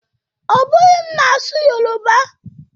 Ọ bụghị m na-asụ Yoruba o